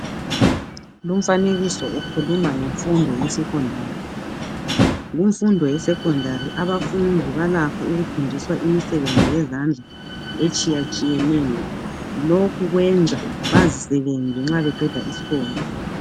Umfanekiso ukhuluma ngemfundo yesecondary, kumfundo ye secondary abafundi balakho ukufundiswa imisebenzi yezandla etshiya tshiyeneyo lokhu kwenza bazisebenze nxa beqeda isikolo